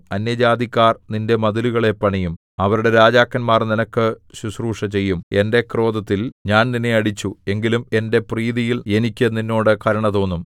അന്യജാതിക്കാർ നിന്റെ മതിലുകളെ പണിയും അവരുടെ രാജാക്കന്മാർ നിനക്ക് ശുശ്രൂഷ ചെയ്യും എന്റെ ക്രോധത്തിൽ ഞാൻ നിന്നെ അടിച്ചു എങ്കിലും എന്റെ പ്രീതിയിൽ എനിക്ക് നിന്നോട് കരുണ തോന്നും